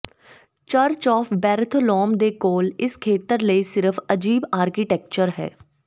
church of Bartholomew ਦੇ ਕੋਲ ਇਸ ਖੇਤਰ ਲਈ ਸਿਰਫ ਅਜੀਬ ਆਰਕੀਟੈਕਚਰ ਹੈ